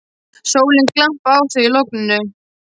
Sólin glampaði á þau í logninu.